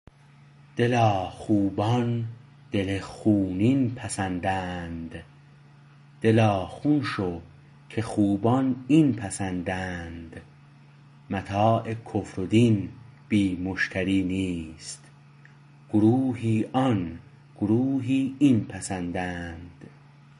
دلا خوبان دل خونین پسندند دلا خون شو که خوبان این پسندند متاع کفر و دین بی مشتری نیست گروهی آن گروهی این پسندند